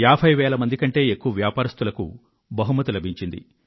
ఏభై వేల మందికి పైగా వ్యాపారస్తులు బహుమతులు గెలిచారు